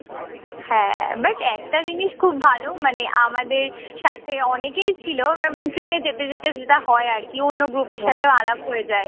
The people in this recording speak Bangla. হ্যাঁ, but একটা জিনিস খুব ভালো মানে আমাদের সাথে অনেকই ছিল আহ মানে ট্রেনে যেতে যেতে যেটা হয় আরকি। অন্য group এর সাথেও আলাপ হয়ে যায়।